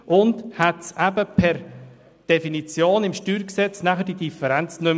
So hätte es im StG per Definition diese Differenz nicht mehr gegeben.